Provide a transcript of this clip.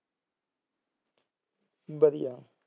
ਵਧੀਆ